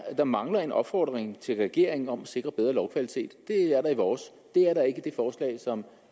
der mangler en opfordring til regeringen om at sikre bedre lovkvalitet det er der i vores det er der ikke i det forslag som